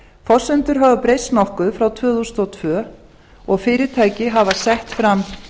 forsendur hafa breyst nokkuð frá tvö þúsund og tvö og fyrirtæki hafa sett fram